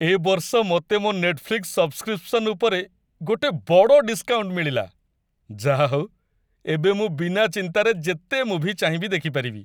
ଏ ବର୍ଷ ମତେ ମୋ' ନେଟଫ୍ଲିକ୍ସ ସବସ୍କ୍ରିପସନ୍ ଉପରେ ଗୋଟେ ବଡ଼ ଡିସ୍କାଉଣ୍ଟ ମିଳିଲା । ଯାହାହଉ, ଏବେ ମୁଁ ବିନା ଚିନ୍ତାରେ ଯେତେ ମୁଭି ଚାହିଁବି ଦେଖିପାରିବି ।